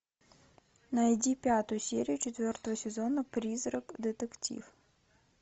найди пятую серию четвертого сезона призрак детектив